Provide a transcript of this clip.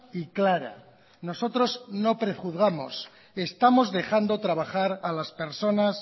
y clara nosotros no prejuzgamos estamos dejando trabajar a las personas